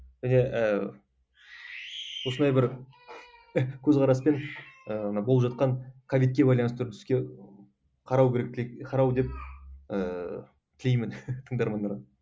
міне ііі осындай бір көзқараспен ы болып жатқан ковидке байланысты түскен қарау деп ыыы тілеймін тыңдармандарға